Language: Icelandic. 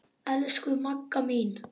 Elsku Magga mín.